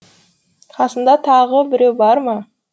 қасыңда тағы біреу бар ма